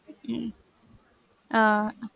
உம் ஆஹ்